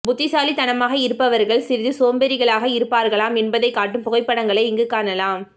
புத்திசாலித்தனமாக இருப்பவர்கள் சிறிது சோம்பேறிகளாக இருப்பார்களாம் என்பதை காட்டும் புகைப்படங்களை இங்கு காணலாம்